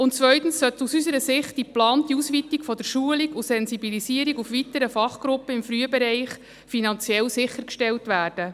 Zweitens sollte aus unserer Sicht die geplante Ausweitung der Schulung und Sensibilisierung auf weitere Fachgruppen im Frühbereich finanziell sichergestellt werden.